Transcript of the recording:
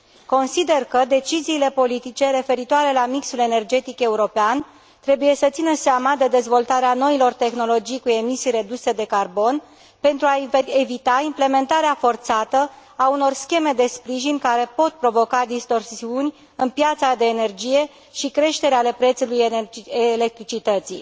Consider că deciziile politice referitoare la mixul energetic european trebuie să țină seama de dezvoltarea noilor tehnologii cu emisii reduse de carbon pentru a evita implementarea forțată a unor scheme de sprijin care pot provoca distorsiuni în piața de energie și creșteri ale prețului electricității.